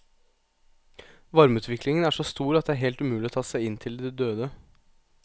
Varmeutviklingen er så stor at det er helt umulig å ta seg inn til de døde.